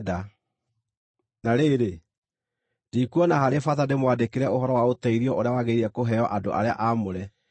Na rĩrĩ, ndikuona harĩ bata ndĩmwandĩkĩre ũhoro wa ũteithio ũrĩa wagĩrĩire kũheo andũ arĩa aamũre.